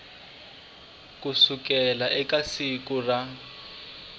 ku sukela eka siku ra